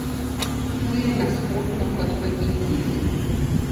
Tu je nasprotno kot v Indiji.